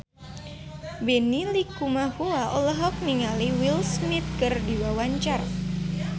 Benny Likumahua olohok ningali Will Smith keur diwawancara